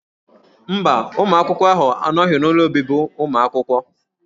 Mba, ụmụ akwụkwọ ahụ anọghị n'ụlọ obibi ụmụ akwụkwọ.